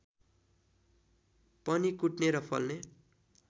पनि कुट्ने र फल्ने